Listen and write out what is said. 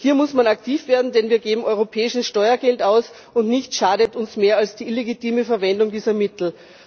Hier muss man aktiv werden, denn wir geben europäisches Steuergeld aus, und nichts schadet uns mehr als die illegitime Verwendung dieser Mittel.